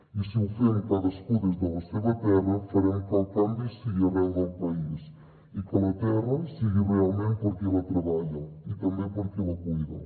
i si ho fem cadascú des de la seva terra farem que el canvi sigui arreu del país i que la terra sigui realment per a qui la treballa i també per a qui la cuida